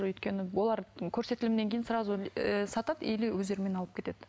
өйткені олар көрсетілімнен кейін сразу ыыы сатады или өздерімен алып кетеді